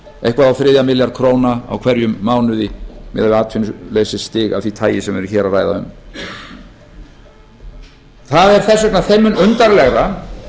eitthvað á þriðja milljarð króna á hverjum mánuði miðað við atvinnuleysisstig af því tagi sem við erum hér að ræða um það er þess vegna þeim mun undarlegra